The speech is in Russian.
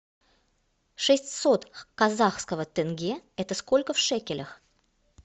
шестьсот казахского тенге это сколько в шекелях